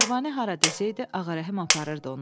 Pərvanə hara desəydi, Ağarəhim aparırdı onu.